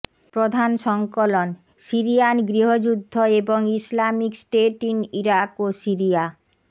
প্রধান সংকলনঃ সিরিয়ান গৃহ যুদ্ধ এবং ইসলামিক স্টেট ইন ইরাক ও সিরিয়া